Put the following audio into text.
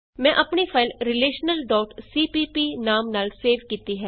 ਮੈਂ ਆਪਣੀ file relational CPP relational CPP ਨਾਮ ਨਾਲ ਸੇਵ ਕੀਤੀ ਹੈ